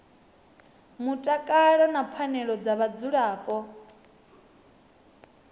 mutakalo na pfanelo dza vhadzulapo